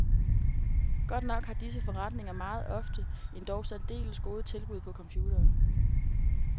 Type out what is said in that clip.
Godt nok har disse forretninger meget ofte endog særdeles gode tilbud på computere.